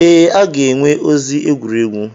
Ee, a ga-enwe ozi egwuregwu.